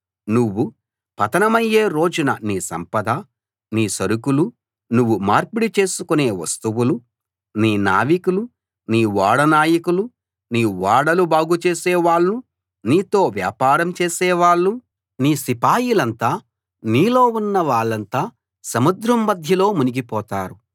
నువ్వు పతనమయ్యే రోజున నీ సంపద నీ సరుకులు నువ్వు మార్పిడి చేసుకునే వస్తువులు నీ నావికులు నీ ఓడ నాయకులు నీ ఓడలు బాగు చేసే వాళ్ళు నీతో వ్యాపారం చేసే వాళ్ళు నీ సిపాయిలంతా నీలో ఉన్న వాళ్ళంతా సముద్రం మధ్యలో మునిగిపోతారు